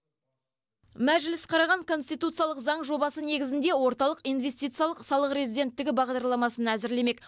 мәжіліс қараған конституциялық заң жобасы негізінде орталық инвестициялық салық резиденттігі бағдарламасын әзірлемек